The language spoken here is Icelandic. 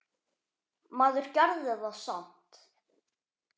Maður gerði það samt.